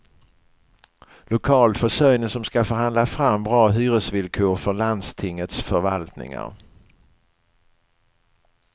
Lokalförsörjning som ska förhandla fram bra hyresvillkor för landstingets förvaltningar.